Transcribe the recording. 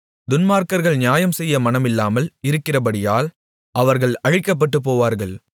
துன்மார்க்கர்கள் நியாயம்செய்ய மனமில்லாமல் இருக்கிறபடியால் அவர்கள் அழிக்கப்பட்டுபோவார்கள்